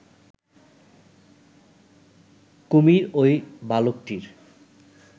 কুমির ওই বালকটির